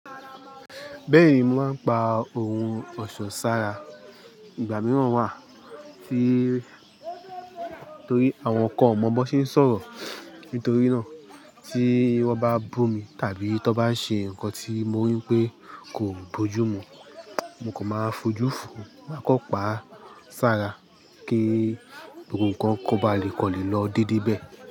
Bẹ́ẹ̀ni mò ń pa ohun ọ̀ṣọ́ sára. Ìgbà mìíràn wà tí torí àwọn kan ò mọ bó ṣe ń sọ̀rọ̀. Nítorí náà tí wọ́n bá bù mi tàbí tí wọ́n bá ṣe nǹkan tí mo rí pé kò bójú mu, mo kò máa fojú fòó. Mà á kọ́ pa á sára kí gbogbo ǹkan kó ba lè kọlẹ̀ lọ dédé bẹ́ẹ̀.